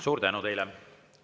Suur tänu teile!